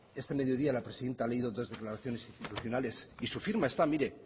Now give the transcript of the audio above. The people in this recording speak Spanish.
este mediodía la presidenta ha leído dos declaraciones institucional y su firma está mire